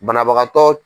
Banabagatɔ